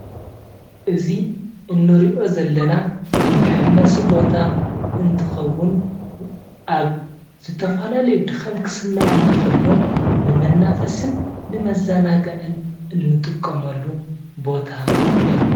እዚ እንሪኦ ዘለና መሐመሲ ቦታ እንትከውን ኣብ ዝተፈላለዩ ድካም ክስመዐና ከሎ ንመናፈሲን ንመዘናግዕን እንጥቀመሉ ቦታ እዩ፡፡